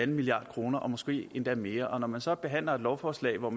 milliard kroner måske endda mere når man så behandler et lovforslag hvor